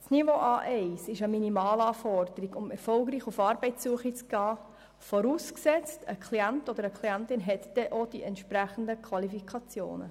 Das Niveau A1 ist die Minimalanforderung, um erfolgreich auf Arbeitssuche zu gehen, vorausgesetzt eine Klientin oder ein Klient hat auch die entsprechenden Qualifikationen.